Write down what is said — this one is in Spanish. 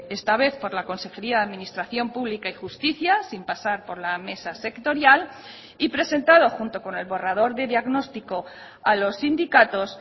esta vez por la consejería de administración pública y justicia sin pasar por la mesa sectorial y presentado junto con el borrador de diagnóstico a los sindicatos